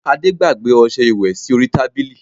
Ade gbàgbé ọsẹ ìwẹ̀ sí orí tábìlì